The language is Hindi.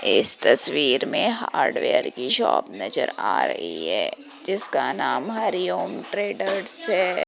इस तस्वीर में हार्डवेयर की शॉप नजर आ रही है जिसका नाम हरिओम ट्रेडर्स है।